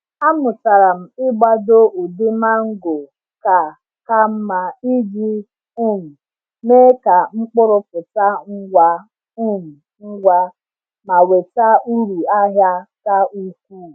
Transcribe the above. Amụtara m ịgbado ụdị mango ka ka mma iji um mee ka mkpụrụ pụta ngwa um ngwa ma weta uru ahịa ka ukwuu.